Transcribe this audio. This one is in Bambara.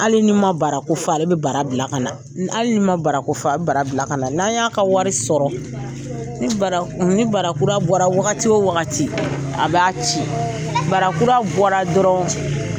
Hali ni man barako fɔ ale bɛ bara bila ka na, hali nin man barako fɔ a bɛ bara bila ka na n'an y'a ka wari sɔrɔ ni barakura bɔra wagati o wagati a b b'a ci barakura bɔra dɔrɔn